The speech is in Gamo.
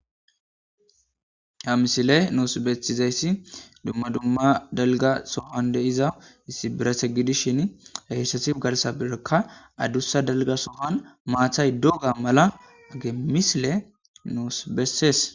Ha misile noos bethizayssi dumma dumma dalga sohan diza issi birase gidishin hehysati garsa birekka addussa dalga sohan maathay doga mala age misile noos bessees.